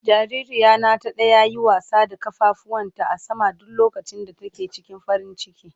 Jaririya na ta daya yi wasa da kafafuwan ta a sama duk lokacin da take cikin farin ciki.